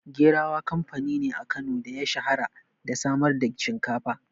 Gerawa kamfani ne a Kano da ya shahara da samar da shinkafa.